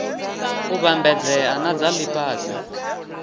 u vhambedzea na dza lifhasi